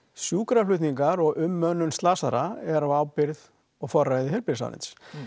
sjúkraflutningar og umönnun slasaðra er á ábyrgð og forræði heilbrigðisráðherra